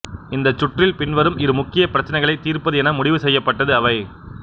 இந்தச் சுற்றில் பின்வரும் இரு முக்கிய பிரச்சினைகளை தீர்ப்பது என முடிவு செய்யப்பட்டது அவை